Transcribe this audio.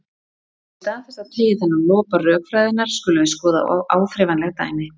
En í stað þess að teygja þennan lopa rökfræðinnar skulum við skoða áþreifanleg dæmi.